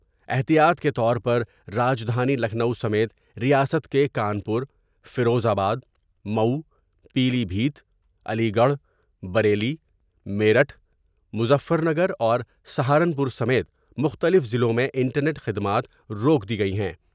احتیاط کے طور پر راجدھانی لکھنو سمیت ریاست کے Kanpur, Firozabad, Mau, Pilibhit Aligarh, Bareilly, Meerut Muzaffarnagar ور سہارنپور سمیت مختلف ، ضلعوں میں انٹرنیٹ خدمات روک دی گئی ہیں ۔